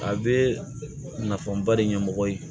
A bɛ nafanba de ɲɛmɔgɔ ye